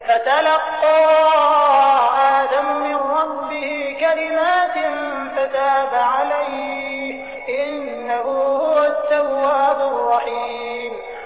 فَتَلَقَّىٰ آدَمُ مِن رَّبِّهِ كَلِمَاتٍ فَتَابَ عَلَيْهِ ۚ إِنَّهُ هُوَ التَّوَّابُ الرَّحِيمُ